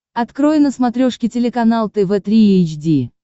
открой на смотрешке телеканал тв три эйч ди